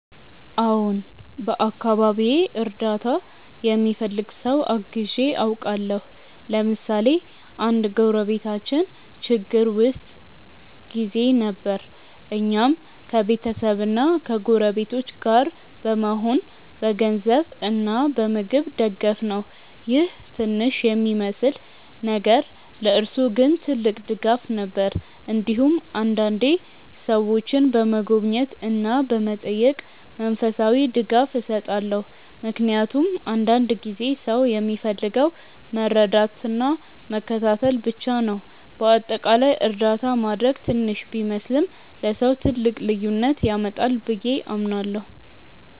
አዎን፣ በአካባቢዬ እርዳታ የሚፈልግ ሰው አግዤ አውቃለሁ። ለምሳሌ አንድ ጎረቤታችን ችግር ውስጥ ጊዜ ነበር፣ እኛም ከቤተሰብና ከጎረቤቶች ጋር በመሆን በገንዘብ እና በምግብ ደገፍነው ይህ ትንሽ የሚመስል ነገር ለእርሱ ግን ትልቅ ድጋፍ ነበር። እንዲሁም አንዳንዴ ሰዎችን በመጎብኘት እና በመጠየቅ መንፈሳዊ ድጋፍ እሰጣለሁ፣ ምክንያቱም አንዳንድ ጊዜ ሰው የሚፈልገው መረዳትና መከታተል ብቻ ነው። በአጠቃላይ እርዳታ ማድረግ ትንሽ ቢመስልም ለሰው ትልቅ ልዩነት ያመጣል ብዬ አምናለሁ።